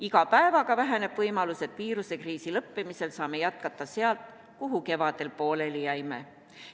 Iga päevaga väheneb võimalus, et viiruskriisi lõppemisel saame jätkata sealt, kuhu kevadel pooleli jäime.